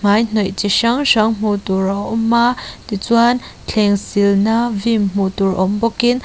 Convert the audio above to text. hmaihnawih chi hrang hrang hmuh tur a awm a tichuan thlengsilna vim hmuh tur awm bawkin --